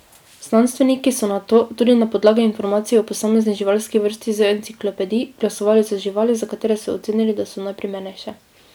Znanstveniki so nato, tudi na podlagi informacij o posamezni živalski vrsti iz enciklopedij, glasovali za živali, za katere so ocenili, da so najprimernejše.